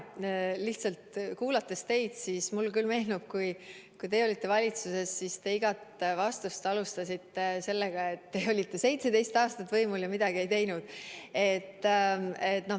Lihtsalt, teid kuulates mulle küll meenub, et kui teie olite valitsuses, siis te igat vastust alustasite sellega, et te olite 17 aastat võimul ja midagi ei teinud.